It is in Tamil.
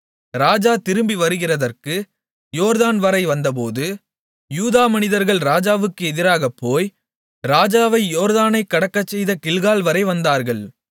ராஜா திரும்ப வருகிறதற்கு யோர்தான்வரை வந்தபோது யூதா மனிதர்கள் ராஜாவுக்கு எதிராகப்போய் ராஜாவை யோர்தானைக் கடக்கச்செய்த கில்கால்வரை வந்தார்கள்